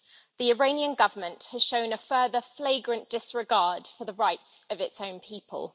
the Iranian Government has shown a further flagrant disregard for the rights of its own people.